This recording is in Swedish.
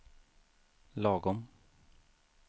lagom